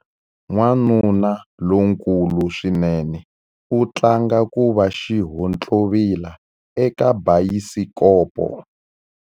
Wanuna lonkulu swinene u tlanga ku va xihontlovila eka bayisikopo.